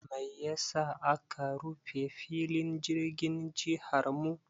Mai ya sa aka rufe filin jirgin jiharmu?